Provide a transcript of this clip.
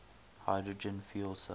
hydrogen fuel cell